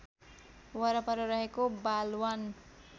वरपर रहेको बालवन